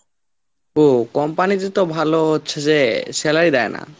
ও company তে তো ভালো হচ্ছে যে salary দেয় না।